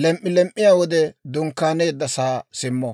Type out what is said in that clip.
lelem"iyaa wode dunkkaaneeddasaa simmo.